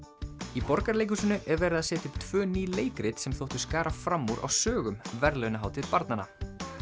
í Borgarleikhúsinu er verið að setja upp tvö ný leikrit sem þóttu skara fram úr á sögum verðlaunahátíð barnanna